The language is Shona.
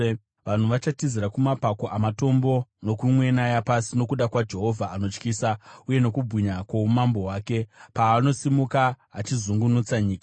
Vanhu vachatizira kumapako amatombo, nokumwena yapasi nokuda kwaJehovha anotyisa, uye nokubwinya kwoumambo hwake, paanosimuka achizungunutsa nyika.